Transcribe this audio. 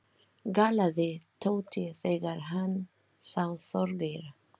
galaði Tóti þegar hann sá Þorgeir.